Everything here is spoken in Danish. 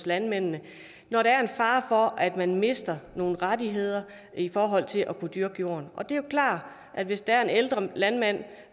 landmændene når der er en fare for at man mister nogle rettigheder i forhold til at kunne dyrke jorden og det er jo klart at hvis der er en ældre landmand